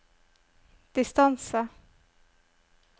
distance